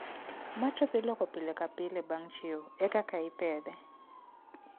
Matress iloko pile ka pile bang' chiew e kaka ipedhe